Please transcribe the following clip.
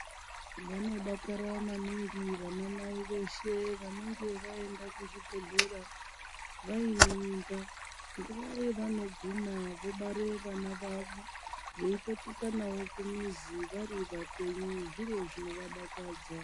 Vanodakara maningi vana mai veshe vanege vaenda kuzvibhedhlera vaine mimba. Nguwa yavanoguma vobare vana vavo veipetuka navo kumizi varipapenyu zviro zvinovadakadza.